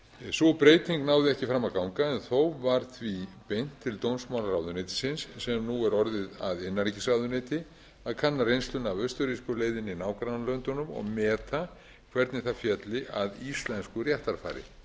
sú breyting náði ekki fram að ganga en þó var því beint til dómsmálaráðuneytisins sem nú er orðið að innanríkisráðuneyti að kanna reynsluna af austurrísku leiðinni í nágrannalöndunum og meta hvernig það félli að íslensku réttarfari